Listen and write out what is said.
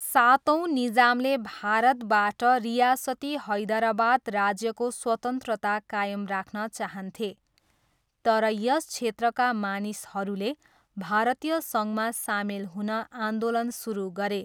सातौँ निजामले भारतबाट रियासती हैदरावाद राज्यको स्वतन्त्रता कायम राख्न चाहन्थे, तर यस क्षेत्रका मानिसहरूले भारतीय सङ्घमा सामेल हुन आन्दोलन सुरु गरे।